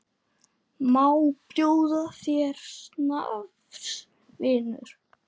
Má bjóða þér snafs, vinur?